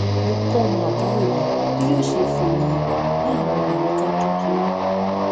mo kó ọmọ àbúrò mi bí yó ṣe fọ eyín rẹ ní àwọn àyíká kékeré